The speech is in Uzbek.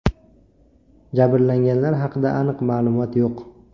Jabrlanganlar haqida aniq ma’lumot yo‘q.